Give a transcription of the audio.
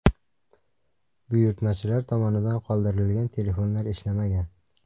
Buyurtmachilar tomonidan qoldirilgan telefonlar ishlamagan.